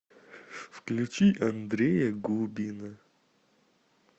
включи андрея губина